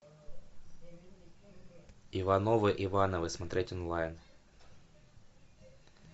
ивановы ивановы смотреть онлайн